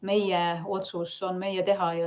Meie otsus on meie teha.